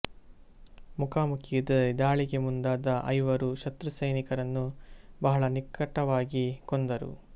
ಮುಖಾಮುಖಿ ಯುದ್ಧದಲ್ಲಿ ದಾಳಿಗೆ ಮುಂದಾದ ಐವರು ಶತ್ರು ಸೈನಿಕರನ್ನು ಬಹಳ ನಿಕಟವಾಗಿ ಕೊಂದರು